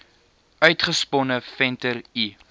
uitgesponne venter l